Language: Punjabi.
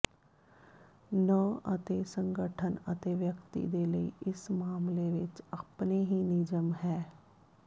ਨੰ ਅਤੇ ਸੰਗਠਨ ਅਤੇ ਵਿਅਕਤੀ ਦੇ ਲਈ ਇਸ ਮਾਮਲੇ ਵਿਚ ਆਪਣੇ ਹੀ ਨਿਯਮ ਹੈ